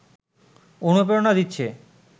অনুপ্রেরণা দিচ্ছে